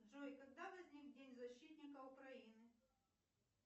джой когда возник день защитника украины